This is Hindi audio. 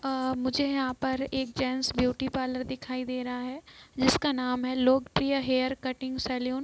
अ मुझे यहाँ पर एक जेंट्स ब्यूटी पार्लर दिखाई दे रहा है जिसका नाम है लोकप्रिय हेयर कटिंग सैलून .